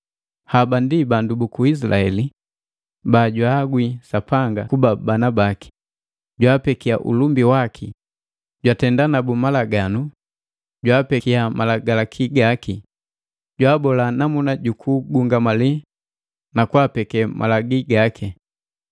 Haba ndi bandu buku Isilaheli bajwaagwi Sapanga kuba bana baki, jwaapekia ulumbi waki, jwatenda nabu malaganu, jwaapekia Malagalaki gaki, jwaabola namuna jukugungamali na kwaapeke malagi gaki.